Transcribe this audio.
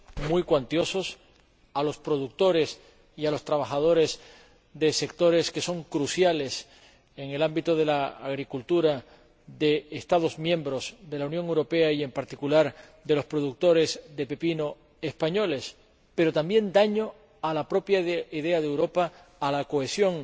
muy cuantiosos a los productores y a los trabajadores de sectores que son cruciales en el ámbito de la agricultura de Estados miembros de la Unión Europea y, en particular, de los productores de pepino españoles, pero que también han causado daño a la propia idea de Europa, a la cohesión